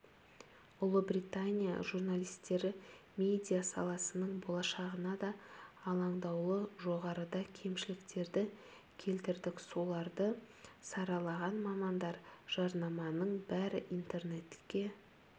ұлыбритания журналистері медиа саласының болашағына да алаңдаулы жоғарыда кемшіліктерді келтірдік соларды саралаған мамандар жарнаманың бәрі интернетке